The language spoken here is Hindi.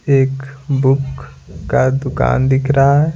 एक बुक का दुकान दिख रहा है।